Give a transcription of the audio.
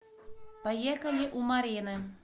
поехали у марины